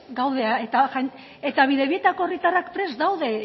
gaude eta bidebietako herritarrak prest daude